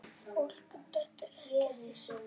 Fólk dettur ekkert í sundur.